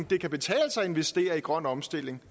det kan betale sig at investere i grøn omstilling